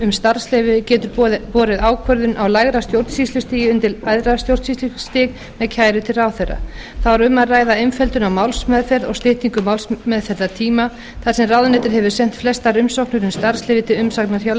um starfsleyfi getur borið ákvörðun á lægra stjórnsýslustigi undir æðra stjórnsýslustig með kæru til ráðherra þá er um að ræða einföldun á málsmeðferð og styttingu málsmeðferðartíma þar sem ráðuneytið hefur sent flestar umsóknir um starfsleyfi til umsagnar hjá